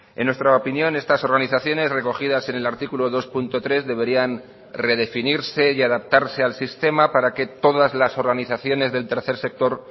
en nuestra opinión estas organizaciones recogidas en el artículo dos punto tres deberían redefinirse y adaptarse al sistema para que todas las organizaciones del tercer sector